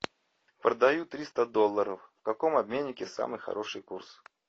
продаю триста долларов в каком обменнике самый хороший курс